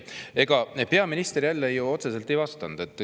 Ega peaminister jälle ju otseselt ei vastanud.